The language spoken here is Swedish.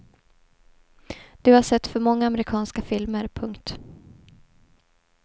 Du har sett för många amerikanska filmer. punkt